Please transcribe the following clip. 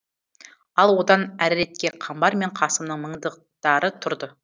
ал одан әріретке қамбар мен қасымның мыңдықтары тұрды